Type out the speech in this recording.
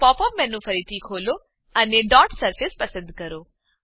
તો pop up menu ફરીથી ખોલો અને ડોટ સરફેસ પસંદ કરો